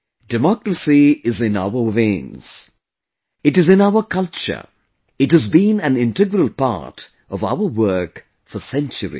Democracy is in our veins, it is in our culture it has been an integral part of our work for centuries